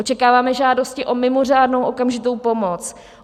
Očekáváme žádosti o mimořádnou okamžitou pomoc.